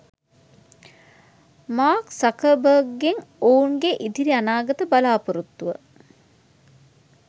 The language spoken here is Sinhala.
මාර්ක් සක්බර්ග්ගෙන් ඔවුන්ගේ ඉදිරි අනාගත බලාපොරොත්තුව